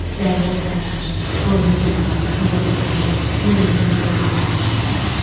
Davar otarar, qoyunu canavardan qoruyar, qoyun quzuya qaraoğul çəkərdi.